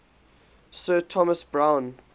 sir thomas browne